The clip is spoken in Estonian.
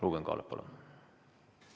Ruuben Kaalep, palun!